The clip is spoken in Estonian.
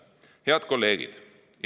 Head kolleegid!